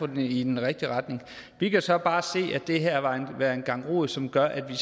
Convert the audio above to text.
det i den rigtige retning vi kan så bare se at det her vil være en gang rod som gør at vi